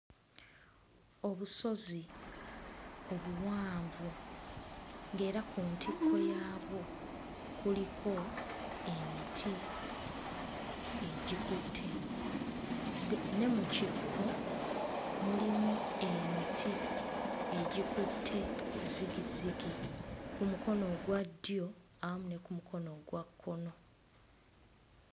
Obusozi obuwanvu ng'era ku ntikko yaabwo kuliko emiti egikutte. De... ne mu kikko mulimu emiti egikutte zigizigi ku mukono ogwa ddyo awamu ne ku mukono ogwa kkono.